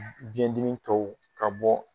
Biɲɛdimi tɔw ka bɔ